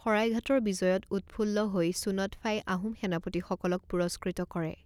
শৰাইঘাটৰ বিজয়ত উৎফুল্ল হৈ চুন্যৎফাই আহোম সেনাপতিসকলক মই পুৰস্কৃত কৰে।